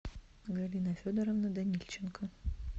галина федоровна данильченко